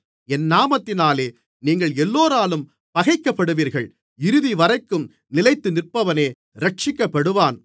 என் நாமத்தினாலே நீங்கள் எல்லோராலும் பகைக்கப்படுவீர்கள் இறுதிவரைக்கும் நிலைத்திருப்பவனே இரட்சிக்கப்படுவான்